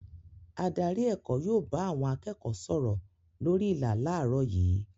Adarí èkó yóò bá àwọn akẹ́kọ̀ọ́ sọ̀rọ̀ lórí ìlà láàárọ̀ yìí.